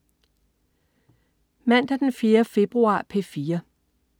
Mandag den 4. februar - P4: